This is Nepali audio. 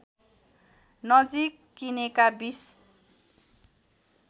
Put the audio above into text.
नजिक किनेका २०